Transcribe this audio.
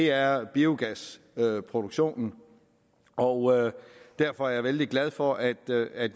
er biogasproduktionen og derfor er jeg vældig glad for at